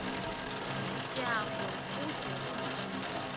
tyambo ude umthi